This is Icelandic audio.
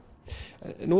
nú